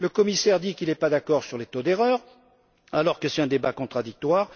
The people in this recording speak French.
Le commissaire affirme qu'il n'est pas d'accord sur les taux d'erreur, alors que c'est un débat contradictoire.